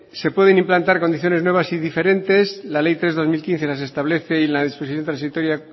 se pueden implantar condiciones nuevas y diferentes la ley tres barra dos mil quince las establece en la disposición transitoria